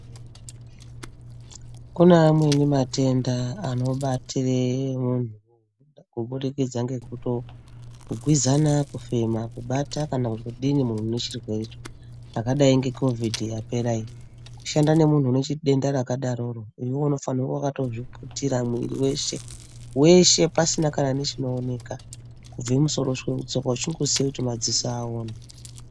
Kune amweni matenda anobatira munhu kubudikidza ngekutogwizana kufema ,kubata kana kudini munhu unechirwewre cho zvakadai ngecovid yapera iyi kushande nemunhu unedenda rakadaro iwewe unofanire kunge wakazviputira mwiri weshe ,weshe pasina kana chinooneka kubve mumusoro kusvike mutsoka uchingosiye kuti madziso aone.